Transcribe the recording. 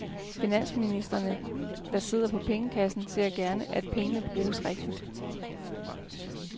Finansministrene, der sidder på pengekassen, ser gerne, at pengene bruges rigtigt.